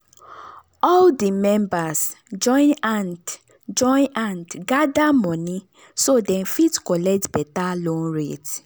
all di members join hand join hand gather money so dem fit collect better loan rate.